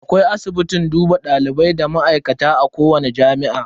Akwai asibitin duba dalibai da ma'aikata a kowani jami'a.